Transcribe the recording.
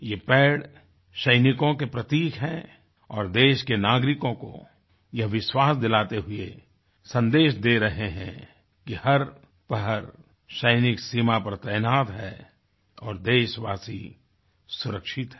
ये पेड़ सैनिकों के प्रतीक हैं और देश के नागरिकों को यह विश्वास दिलाते हुए सन्देश दे रहे हैं कि हर पहर सैनिक सीमा पर तैनात है और देशवासी सुरक्षित है